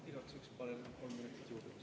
Igaks juhuks palun kolm minutit juurde.